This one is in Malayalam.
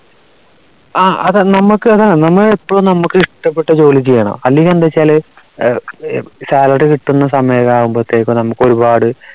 ആ അത നമുക്ക് അതാ നമ്മ എപ്പോഴും നമുക്ക് ഇഷ്ടപ്പെട്ട ജോലി ചെയ്യണം അല്ലെങ്കിൽ എന്താ ച്ചാൽ salary കിട്ടുന്ന സമയത് ആവുമ്പോഴേക്കും നമുക്ക് ഒരുപാട്